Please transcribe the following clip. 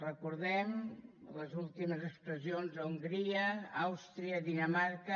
recordem ne les últimes expressions a hongria àustria dinamarca